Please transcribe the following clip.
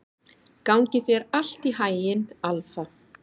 Gangi þér allt í haginn, Alfa.